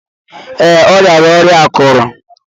Ee, ọ riara ọrịa akuru.